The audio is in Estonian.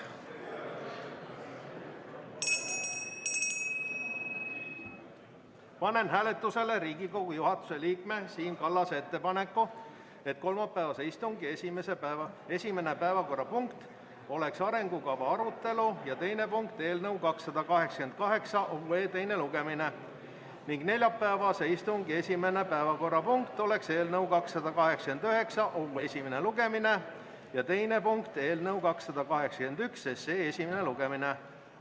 Panen hääletusele Riigikogu juhatuse liikme Siim Kallase ettepaneku, et kolmapäevase istungi esimene päevakorrapunkt oleks arengukava arutelu ja teine punkt eelnõu 288 teine lugemine ning neljapäevase istungi esimene päevakorrapunkt oleks eelnõu 289 esimene lugemine ja teine punkt eelnõu 281 esimene lugemine.